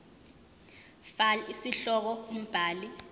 fal isihloko umbhali